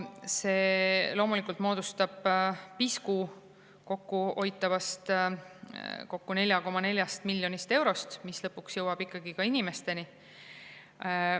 See loomulikult moodustab pisku kokkuhoitavast, kokku 4,4 miljonist eurost, mis lõpuks jõuab ka inimesteni.